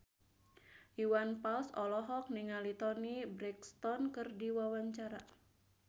Iwan Fals olohok ningali Toni Brexton keur diwawancara